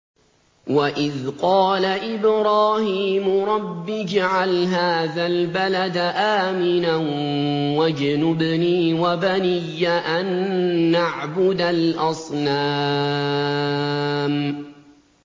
وَإِذْ قَالَ إِبْرَاهِيمُ رَبِّ اجْعَلْ هَٰذَا الْبَلَدَ آمِنًا وَاجْنُبْنِي وَبَنِيَّ أَن نَّعْبُدَ الْأَصْنَامَ